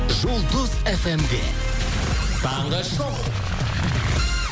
жұлдыз эф эм де таңғы шоу